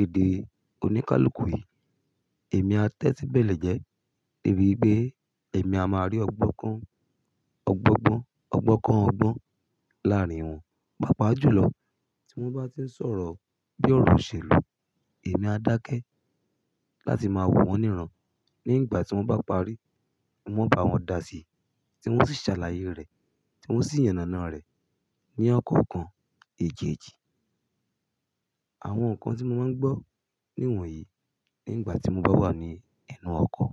èdè oníkálukú yí, èmi a tẹ́tí bẹ̀lẹ̀ jẹ́ debi wipé èmi a máa rí ọ̀gbọ́n kọ, ọ̀gbọ́n gbọ́n, ọ̀gbọ́n kọ ọgbọ́n láàárín wọn. Pàápàá jùlọ tí wọ́n bá tí ń sọ̀rọ̀ bí ọ̀rọ̀ òṣèlú, èmi a dákẹ́ láti máa wò wọ́n níràn nígbà tí wọ́n bá parí. Wọn bá wọn da síi, tí wọ́n sì ṣàlàyé rẹ̀, tí wọ́n sì yànnànárẹ̀ ní ọkọ̀ kan èjeeji. Àwọn nǹkan tí mo máa ń gbọ́ níwọ̀nyí nígbà tí mo bá wà ní ẹnu ọkọ̀.